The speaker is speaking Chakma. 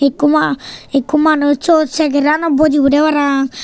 ikku ma ikku manus syot chegaranot bojibodey paraang.